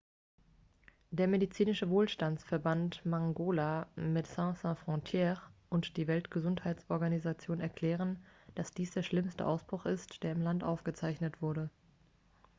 der medizinische wohlfahrtsverband mangola medecines sans frontieres und die weltgesundheitsorganisation erklären dass dies der schlimmste ausbruch ist der im land aufgezeichnet wurde